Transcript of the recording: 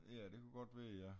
Ja det kunne godt være ja